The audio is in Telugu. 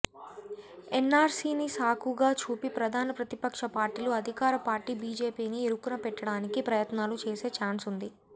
ఎన్ఆర్సీని సాకుగా చూపి ప్రధాన ప్రతిపక్ష పార్టీలు అధికార పార్టీ బీజేపీని ఇరుకున పెట్టడానికి ప్రయత్నాలు చేసే ఛాన్స్ ఉంది